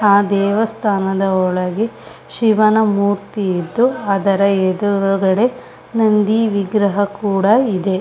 ಆ ದೇವಸ್ಥಾನದ ಒಳಗೆ ಶಿವನ ಮೂರ್ತಿ ಇದ್ದು ಅದರ ಎದುರುಗಡೆ ನಂದಿ ವಿಗ್ರಹ ಕೂಡ ಇದೆ.